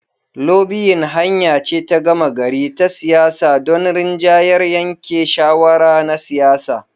Lobiyin hanya ce ta gama gari ta siyasa don rinjayar yanke shawara na siyasa.